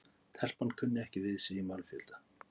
Telpan kunni ekki við sig í mannfjölda.